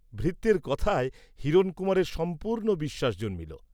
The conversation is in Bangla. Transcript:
ভৃত্যের কথায় হিরণকুমারের সম্পূর্ণ বিশ্বাস জন্মিল।